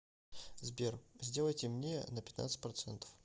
сбер сделай темнее на пятнадцать процентов